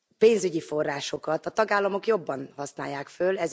pénzügyi forrásokat a tagállamok jobban használják föl.